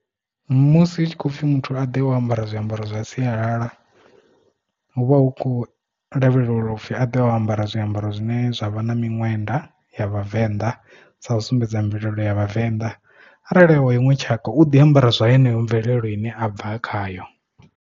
Musi hu tshi khou pfhi muthu a ḓe o ambara zwiambaro zwa sialala hu vha hu khou lavhelelwa upfi a ḓe o ambara zwiambaro zwine zwa vha na miṅwenda ya vhavenḓa sa u sumbedza mvelele ya vhavenḓa arali a wa iṅwe tshaka u ḓi ambara zwa yeneyo mvelelo ine a bva khayo.